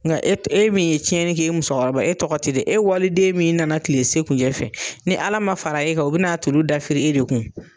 Nka e e min ye tiɲɛnna kɛ e musokɔrɔba e tɔgɔ tɛ fɔ, waliden min nana tile se kunjɛ fɛ, ni Ala ma fara e kan, u bɛna n'a tuuru dafirin e de kunna.